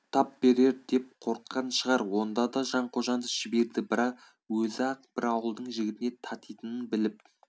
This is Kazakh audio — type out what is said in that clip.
тап берер деп қорыққан шығар онда да жанқожаны жіберді бір өзі-ақ бір ауылдың жігітіне татитынын біліп